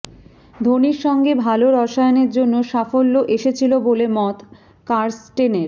ধোনির সঙ্গে ভাল রসায়েনের জন্য সাফল্য এসেছিল বলে মত কার্স্টেনের